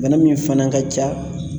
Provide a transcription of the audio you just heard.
Bana min fana ka ca